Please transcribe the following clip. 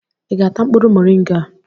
ị ga-ata mkpụrụ moringa a?